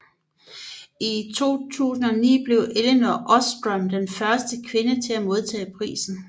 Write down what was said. I 2009 blev Elinor Ostrom den første kvinde til at modtage prisen